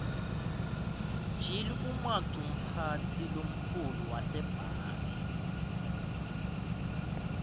gill umaqumphatsi lomkhulu wasebange